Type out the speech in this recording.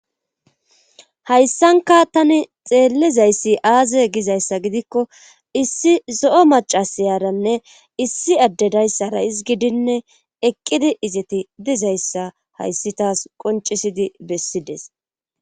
hayssanka tani xeellizayssi aaze gizayssa gidikko issi zo7o macasiyaranne issi addedayssara isgidinne eqqidi izeti dizayssa hayssi taas qoncisidi bessides